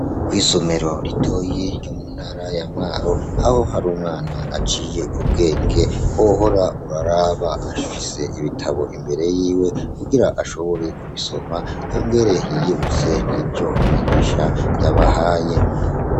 Kw'isomero ritoyi ryo mu ntara ya Mwaro aho hari umwana aciye ubwenge wohora uraraba, afise ibitabo imbere yiwe kugira ashobore kubisoma yongere yiyibutse nk'ivyo umwigisha yabahaye.